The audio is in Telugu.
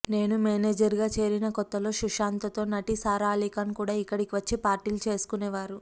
నేను మేనేజర్గా చేరిన కొత్తలో సుశాంత్తో నటి సారా అలీఖాన్ కూడా ఇక్కడికి వచ్చి పార్టీలు చేసుకునేవారు